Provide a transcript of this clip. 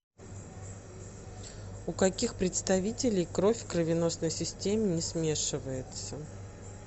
у каких представителей кровь в кровеносной системе не смешивается